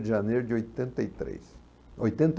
de janeiro de oitenta e três. Oitenta e